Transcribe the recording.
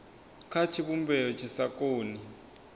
kha tshivhumbeo tshi sa koni